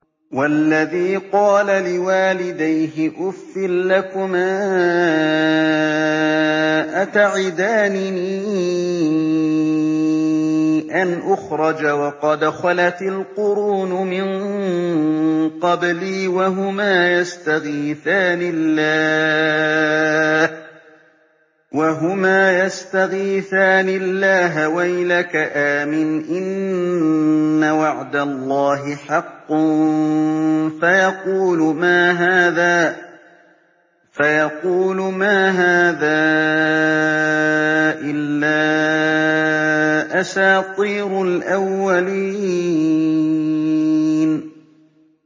وَالَّذِي قَالَ لِوَالِدَيْهِ أُفٍّ لَّكُمَا أَتَعِدَانِنِي أَنْ أُخْرَجَ وَقَدْ خَلَتِ الْقُرُونُ مِن قَبْلِي وَهُمَا يَسْتَغِيثَانِ اللَّهَ وَيْلَكَ آمِنْ إِنَّ وَعْدَ اللَّهِ حَقٌّ فَيَقُولُ مَا هَٰذَا إِلَّا أَسَاطِيرُ الْأَوَّلِينَ